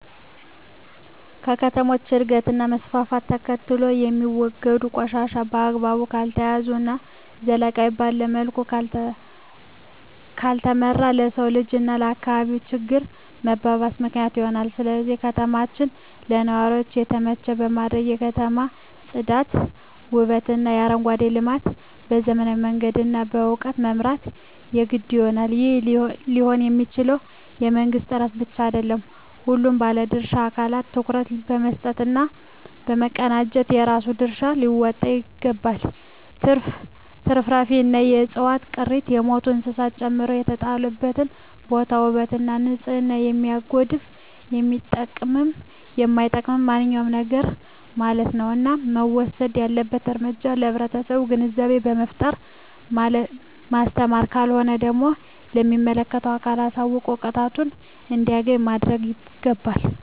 ከከተሞች እድገት እና መስፍፍት ተከትሎየሚወገዱ ቆሻሻ በአግባቡ ካልተያዘ እና ዘላቂነት ባለዉ መልኩ ካልተመራ ለሰዉ ልጅ እና ለአካባቢ ችግር መባባስ ምክንያት ይሆናል ስለዚህ ከተማችን ለነዋሪዎች የተመቸ ለማድረግ የከተማ ፅዳት ዉበትእና አረንጓዴ ልማት በዘመናዊ መንገድ እና በእዉቀት መምራት የግድ ይሆናል ይህም ሊሆንየሚችለዉ በመንግስት ጥረት ብቻ አይደለም ሁሉም ባለድርሻ አካላት ትኩረት በመስጠት እና በመቀናጀት የራሱን ድርሻ ሊወጣ ይገባል ትርፍራፊንእና የዕፅዋት ቅሪትን የሞቱ እንስሳትን ጨምሮ የተጣለበትን ቦታ ዉበት ወይም ንፅህናን የሚያጎድፍ የሚጠቅምም የማይጠቅምም ማንኛዉም ነገርማለት ነዉ እና መወሰድ ያለበት እርምጃ ለህብረተሰቡ ግንዛቤ በመፍጠር ማስተማር ካልሆነ ደግሞ ለሚመለከተዉ አካል አሳዉቆ ቅጣቱን እንዲያገኝ ማድረግይገባል